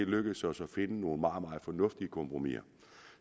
lykkedes os at finde nogle meget meget fornuftige kompromiser